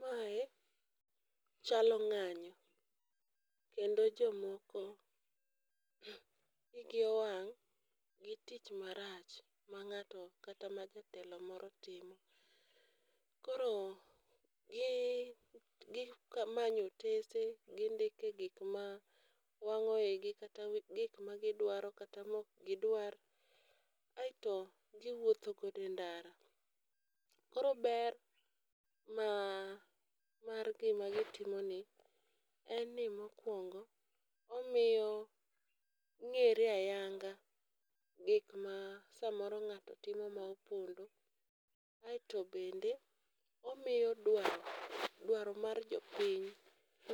Mae chalo ng'anyo kendo jomoko igi owang' gi tich marach ma ng'ato kata ma jatelo moro timo. Koro gi gi manyo otese gindike gik ma wang'o igi kata gik ma gidwaro kata mok gidwar aeto giwuotho gode ndara. Koro ber ma mar gima gitimo ni en ni mokwongo, omiyo ng'ere ayanga gik ma samoro ng'ato timo mopondo aeto bende omiyo dwaro dwaro mar jopiny